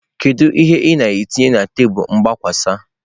Kedu ihe ị na-etinye na tebụl mgbakwasa?